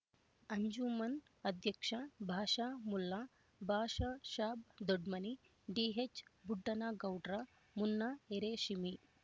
ಅಂಜುಮನ್ ಅಧ್ಯಕ್ಷ ಭಾಷಾ ಮುಲ್ಲಾ ಭಾಷಾಸಾಬ್ ದೊಡ್ಮನಿ ಡಿಎಚ್ಬುಡ್ಡನಗೌಡ್ರ ಮುನ್ನಾ ಎರೇಶೀಮಿ